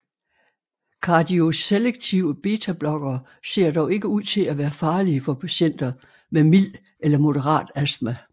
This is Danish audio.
Kardioselektive betablokkere ser dog ikke ud til at være farlige for patienter med mild eller moderat astma